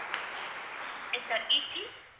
Ether E T